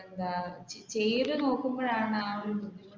എന്താ അത് ചെയ്തുനോക്കുമ്പോഴാണ്